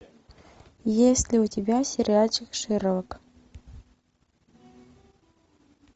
есть ли у тебя сериальчик шерлок